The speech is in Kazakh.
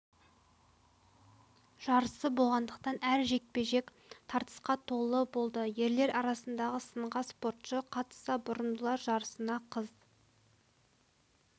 жарысы болғандықтан әр жекпе-жек тартысқа толы болды ерлер арасындағы сынға спортшы қатысса бұрымдылар жарысына қыз